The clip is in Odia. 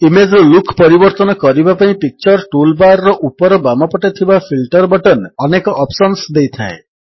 ଇମେଜ୍ ର ଲୁକ୍ ପରିବର୍ତ୍ତନ କରିବା ପାଇଁ ପିକ୍ଚର ଟୁଲ୍ ବାର୍ ର ଉପର ବାମପଟେ ଥିବା ଫିଲ୍ଟର ବଟନ୍ ଅନେକ ଅପ୍ସନ୍ସ ଦେଇଥାଏ